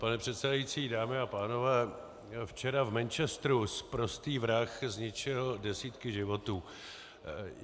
Pana předsedající, dámy a pánové, včera v Manchesteru sprostý vrah zničil desítky životů.